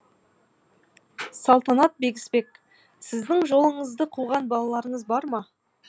салтанат бегісбек сіздің жолыңызды қуған балаларыңыз бар ма